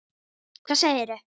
Hvað segirðu?